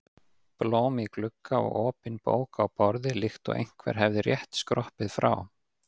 Blóm í glugga og opin bók á borði líkt og einhver hefði rétt skroppið frá.